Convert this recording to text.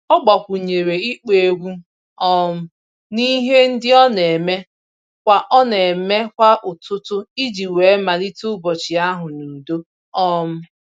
Ọ gbakwunyere ịkpọ egwu um n'ihe ndị ọ na-eme kwa ọ na-eme kwa ụtụtụ iji wee malite ụbọchị ahụ n'udo. um